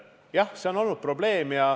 Jah, see on olnud probleem.